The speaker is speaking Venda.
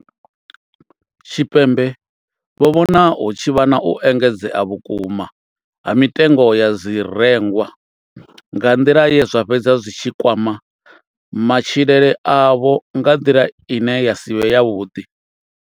Tshipembe vho vhona hu tshi vha na u engedzea vhukuma ha mitengo ya zwirengwa nga nḓila ye zwa fhedza zwi tshi kwama matshilele avho nga nḓila ine ya si vhe yavhuḓi.